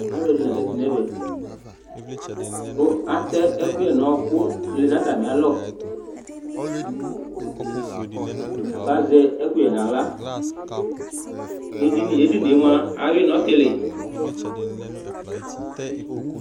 Alʊ ɛdinɩ la zatɩ ŋɛʋɛ, kʊ atɛ ɛƙʊƴɛ ŋʊ ɔƴɔƙʊ lɛ ŋʊ atamɩalɔ Aka zɛ ɛƙʊƴɛ ŋawla nedɩnɩ ̂dinɩe mʊa awʊɩ ŋɔtilɩ